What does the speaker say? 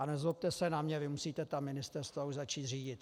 A nezlobte se na mě, vy musíte ta ministerstva už začít řídit.